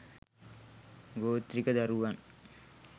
ගෝත්‍රික දරුවන්